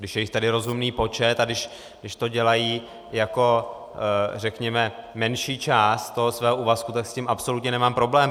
Když je jich tady rozumný počet a když to dělají jako, řekněme, menší část toho svého úvazku, tak s tím absolutně nemám problém.